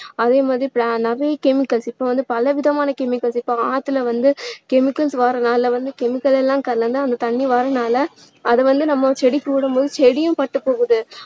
அதே மாதிரி நிறைய chemicals இப்போ வந்து பலவிதமான chemicals இப்போ ஆத்துல வந்து chemicals வர்றதுனால வந்து chemical எல்லாம் கலந்து அந்த தண்ணீர் வர்றதுனால அது வந்து நம்ம செடிக்கு விடும் போது செடியும் பட்டு போகுது